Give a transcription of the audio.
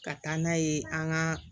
Ka taa n'a ye an ka